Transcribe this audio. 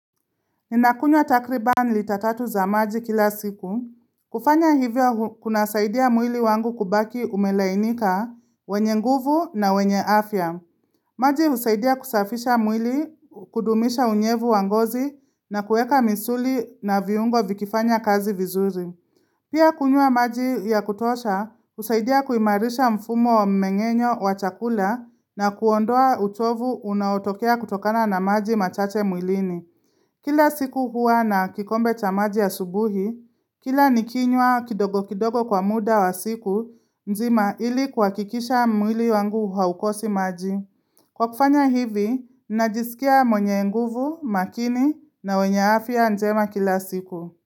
Ninakunywa takriban litatatu za maji kila siku. Kufanya hivyo kuna saidia mwili wangu kubaki umelainika, wenye nguvu na wenye afya. Maji usaidia kusafisha mwili kudumisha unyevu wangozi na kuweka misuli na viungo vikifanya kazi vizuri. Pia kunywa maji ya kutosha, usaidia kuimarisha mfumo mmengenyo wa chakula na kuondoa utovu unaotokea kutokana na maji machache mwilini. Kila siku huwa na kikombe chamaji a subuhi, kila nikinywa kidogo kidogo kwa muda wa siku, nzima ili kuha kikisha mwili wangu haukosi maji. Kwa kufanya hivi, najisikia mwenye nguvu, makini na wenye afya njema kila siku.